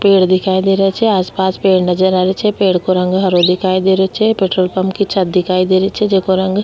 पेड़ दिखाई दे रा छे आस पास पेड़ नजर आ रा छे पेड़ को रंग हरो दिखाई दे रो छे पेट्रोल पम्प की छत दिखाई दे रही छे जेको रंग --